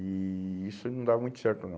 E isso não dava muito certo, não.